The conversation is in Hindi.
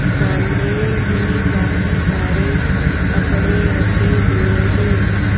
सामने भी काफ़ी सारे कपड़े खड़े हुए हैं।